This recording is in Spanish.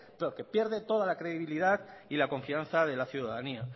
porque pierde toda la credibilidad y la confianza de la ciudadanía